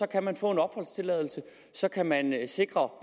kan man få en opholdstilladelse og så kan man sikre